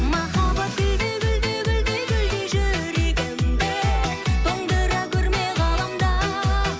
махаббат гүлдей гүлдей гүлдей гүлдей жүрегімді тоңдыра көрме ғаламда